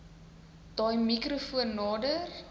daai mikrofoon nader